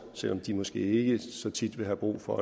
selv om de måske ikke så tit vil have brug for